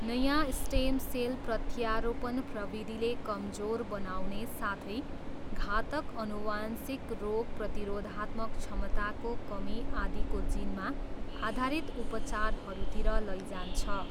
नयाँ stem cell प्रत्यारोपण प्रविधिले कमजोर बनाउने साथै घातक आनुवंशिक रोग प्रतिरोधात्मक क्षमताको कमी आदिको जिनमा आधारित उपचारहरूतिर लैजान्छ।